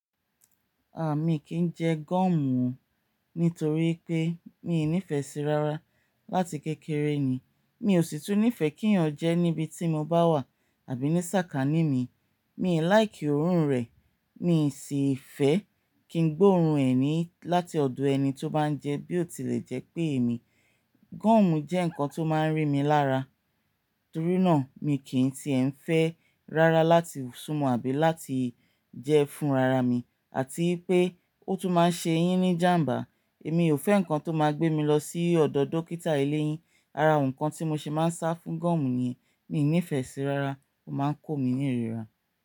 Ah, mi kì í jẹ gọ́ọ̀mù nítorí pé mi ò nífẹ̀ẹ́ sí i rárá. Látì kékeré ni, mi ò sì tún nífẹ̀ẹ́ kí èèyàn jẹẹ́ níbi tí mo bá wà àbí ní sàkání mi. Mi ò like òórùn rẹ̀, miì sì fẹ́ kí n gbóòórùn ẹ̀ ni láti ọ̀dọ̀ ẹni tó bá ń jẹẹ́ bí ò tilẹ̀ jẹ́ pé èmi. Gọ́ọ̀mù jẹ́ nǹkan tó máa ń rí mi lára, torí náà miì kì í tiẹ̀ ń fẹ́ rárá láti súmọ àbí láti jẹ́ fúnra ra mi. Àti wípé ó tún máa ń ṣe'yín ní jàm̀bá. Èmi ò fẹ́ nǹkan tó máa gbé mi lọ sí ọ̀dọ̀ dókítà iléyín. Ara nǹkan tí mo se máa ń sá fún gọ́ọ̀mù ni miì nífẹ̀ẹ́ síi rárá. Ó máa ń kó mi ní ìrira.